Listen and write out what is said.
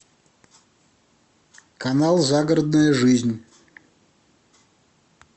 канал загородная жизнь